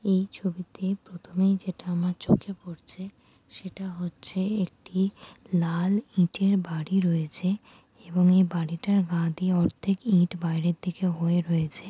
এই ছবিতে প্রথমেই যেটা আমার চোখে পড়ছে সেটা হচ্ছে একটি লাল ইটের বাড়ি রয়েছে এবং এই বাড়িটার গা দিয়ে অর্ধেক ইট বাইরে হয়ে রয়েছে।